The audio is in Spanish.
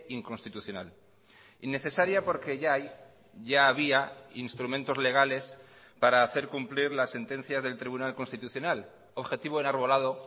inconstitucional innecesaria porque ya hay ya había instrumentos legales para hacer cumplir las sentencias del tribunal constitucional objetivo enarbolado